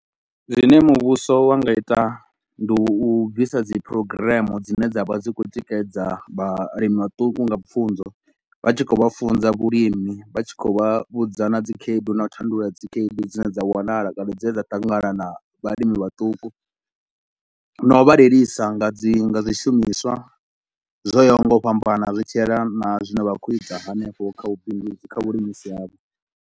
Zwine muvhuso wa nga ita ndi u bvisa dzi program dzine dza vha dzi khou tikedza vhalimi vhaṱuku nga pfunzo. Vha tshi khou vha funza vhulimi, vha tshi khou vha vhudza na dzikhaedu na u tandulula dzikhaedu dzine dza wanala kana dzine dza ṱangana na vhalimi vhaṱuku na u vha lilisa nga dzi nga zwishumiswa zwo yaho nga u fhambana zwi tshielana na zwine vha khou ita hanefho kha vhubindudzi kha vhulimisi havho.